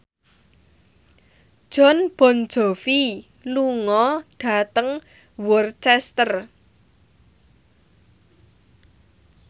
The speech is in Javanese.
Jon Bon Jovi lunga dhateng Worcester